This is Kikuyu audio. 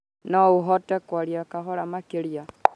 No ũhote kwaria kahora makerĩa